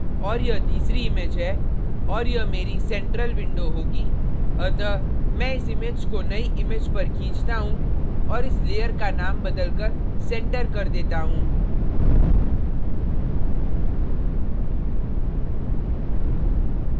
और यह तीसरी image है और यह मेरी central window होगी अतः मैं इस image को नई image पर खींचता हूँ और इस layer का नाम बदलकर center center कर देता हूँ